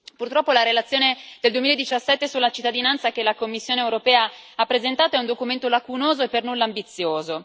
Purtroppo, la relazione del 2017 sulla cittadinanza che la Commissione europea ha presentato è un documento lacunoso e per nulla ambizioso.